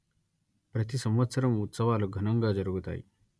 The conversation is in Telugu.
ప్రతి సంవత్సరం ఉత్సవాలు ఘనంగా జరుగుతాయి